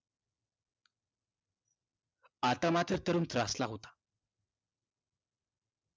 आता मात्र तरुण त्रासला होता